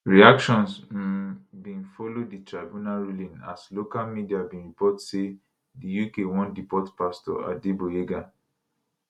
reactions um bin follow di tribunal ruling as local media begin report say di uk wan deport pastor adegboyega